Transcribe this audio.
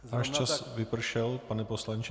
Váš čas vypršel, pane poslanče.